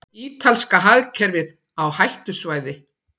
Ítalska hagkerfið á hættusvæði